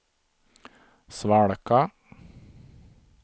svalka